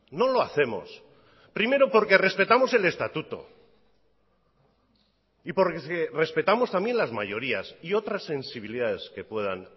no lo hacemos primero porque respetamos el estatuto y porque respetamos también las mayorías y otras sensibilidades que puedan